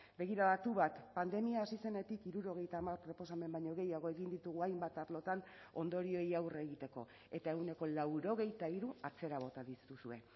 begiradatu bat pandemia hasi zenetik hirurogeita hamar proposamen baino gehiago egin ditugu hainbat arlotan ondorioei aurre egiteko eta ehuneko laurogeita hiru atzera bota dituzue